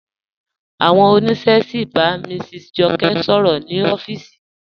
Awọn ọniṣẹ sí n bá Mrs Jọkẹ sọ̀rọ̀ ni ọ̀fíìsì.